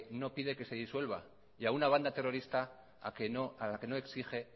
no pide que no se disuelva y a una banda terrorista a la que no exige